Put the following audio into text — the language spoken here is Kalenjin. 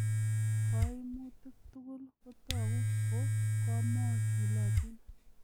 Koimutik tugul kotogu ko komochulotin.